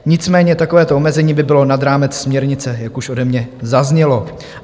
Nicméně takovéto omezení by bylo nad rámec směrnice, jak už ode mě zaznělo.